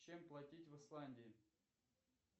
чем платить в исландии